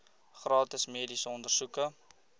gratis mediese ondersoeke